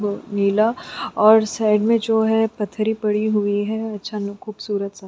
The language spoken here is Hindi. अ नीला और साइड में जो है पथरी पड़ी हुई है अचानक खूबसूरत स--